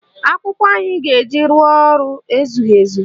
Akwụkwọ anyị ga-eji rụọ ọrụ ezughị ezu